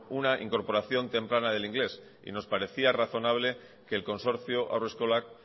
una incorporación temprana del inglés y nos parecía razonable que el consorcio haurreskolak